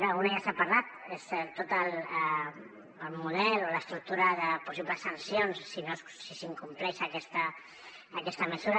d’una ja se n’ha parlat és tot el model o l’estructura de possibles sancions si s’incompleix aquesta mesura